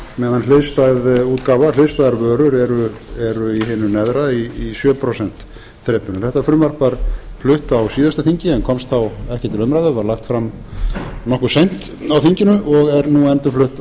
meðan hliðstæðar vörur eru í hinu neðra í sjö prósent þrepinu þetta frumvarp var flutt á síðasta þingi en komst þá ekki til umræðu var lagt fram nokkuð seint á þinginu og er nú endurflutt